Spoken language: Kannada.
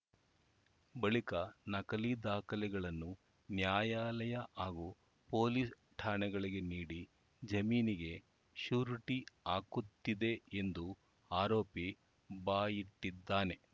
ಬಳಿಕ ನಕಲಿ ದಾಖಲೆಗಳನ್ನು ನ್ಯಾಯಾಲಯ ಹಾಗೂ ಪೊಲೀಸ್‌ ಠಾಣೆಗಳಿಗೆ ನೀಡಿ ಜಾಮೀನಿಗೆ ಶ್ಯೂರಿಟಿ ಹಾಕುತ್ತಿದೆ ಎಂದು ಆರೋಪಿ ಬಾಯ್ಬಿಟ್ಟಿದ್ದಾನೆ